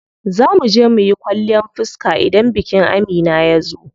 Zaa muje muyi kwalliyan fiska idan bikin Amina yazo.